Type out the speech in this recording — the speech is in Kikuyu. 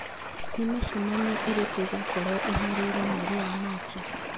Nĩ mĩcemanio ĩrĩkũ ĩkoragwo ĩhaarĩirio mweri wa Machi